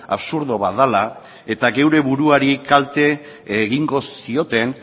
absurdo bat dela eta gure buruari kalte egingo zioten